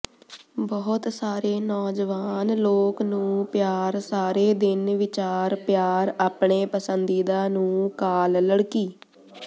ਬਹੁਤ ਸਾਰੇ ਨੌਜਵਾਨ ਲੋਕ ਨੂੰ ਪਿਆਰ ਸਾਰੇ ਦਿਨ ਵਿਚਾਰ ਪਿਆਰ ਆਪਣੇ ਪਸੰਦੀਦਾ ਨੂੰ ਕਾਲ ਲੜਕੀ